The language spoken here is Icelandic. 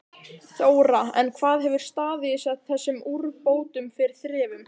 Þóra: En hvað hefur staðið þessum úrbótum fyrir þrifum?